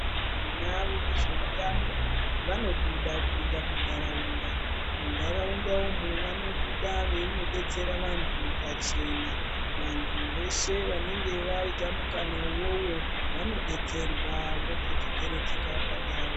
Tina vezveutano vanobuda kuinda muntaraunda muntaraunda umu vanobuda veinodetsera vantu pachena vantu veshe vanenga vaita mukana iwowo vanodetserwa votodzokeredzeka pandau.